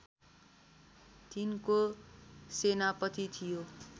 तिनको सेनापति थियो